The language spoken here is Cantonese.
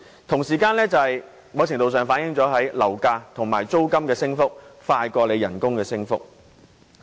同時，在某程度上，這亦反映樓價和租金升幅較工資升幅快。